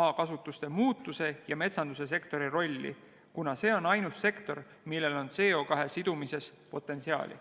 maakasutuse muutuse ja metsandussektori rolli, kuna see on ainus sektor, millel on CO2 sidumises potentsiaali.